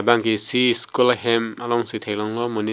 labang ke isi school a hem a long si thek long lo monit--